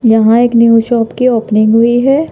यहां एक new shop की ओपनिंग हुई है।